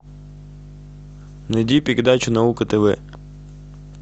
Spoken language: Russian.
найди передачу наука тв